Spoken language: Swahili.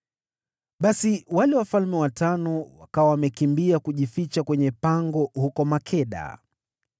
Basi wale wafalme watano wakawa wamekimbia kujificha kwenye pango huko Makeda.